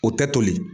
O tɛ toli